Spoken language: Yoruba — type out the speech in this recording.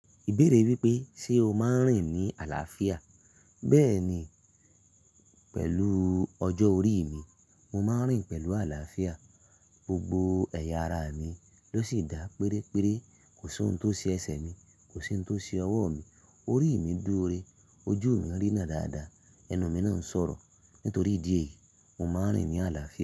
Ìbéèrè wípé ṣe o máa ń rìn ní àlàáfíà? Bẹ́ẹ̀ni pẹ̀lú ọjọ́ orí mi, mo máa ń rìn pẹ̀lú àlàáfíà. Gbogbo ẹ̀yà ara mi ló sì dá pérére. Kò sí ohun tó ṣe ẹsẹ̀ mi, kò sí ohun tó ṣe ọwọ́ mi, orí mi dúró rẹ, ojú mi ń rína dáadáa, ẹnu mi náà ń sọ̀rọ̀. Nítorí idi e yìí, mo máa ń rìn ní àlàáfíà.